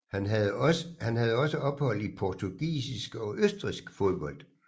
Han havde også ophold i portugisisk og østrigsk fodbold